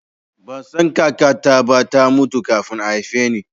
Ban san kakata ba, ta mutu kafin a haife ni